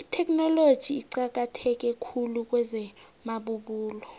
itheknoloji iqakatheke khulu kwezamabubulo